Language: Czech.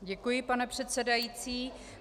Děkuji, pane předsedající.